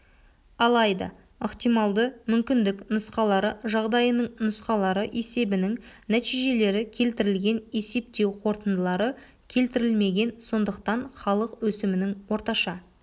алайда ықтималды мүмкіндік нұсқалары жағдайының нұсқалары есебінің нәтижелері келтірілген есептеу қорытындылары келтірілмеген сондықтан халық өсімінің орташа